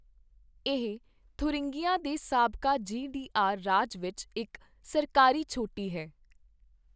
ਇਹ ਥੁਰਿੰਗੀਆ ਦੇ ਸਾਬਕਾ ਜੀ ਡੀ ਆਰ ਰਾਜ ਵਿੱਚ ਇੱਕ ਸਰਕਾਰੀ ਛੋਟੀ ਹੈ।